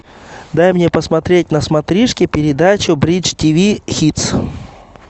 дай мне посмотреть на смотрешке передачу бридж ти ви хитс